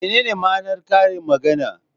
Menene ma'anar karin magana?